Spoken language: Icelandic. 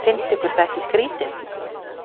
Finnst ykkur það ekki skrýtið?